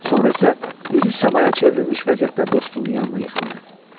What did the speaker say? Sonra isə üzü səmaya çevrilmiş vəziyyətdə dostunun yanına yıxıldı.